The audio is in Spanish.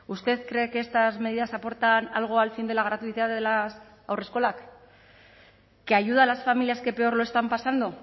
usted cree que estas medidas aportan algo al fin de la gratuidad de las haurreskolak que ayuda a las familias que peor lo están pasando